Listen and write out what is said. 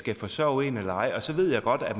skal forsørge en eller ej så ved jeg godt at